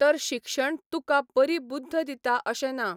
तर शिक्षण तुका बरी बुद्ध दिता अशें ना.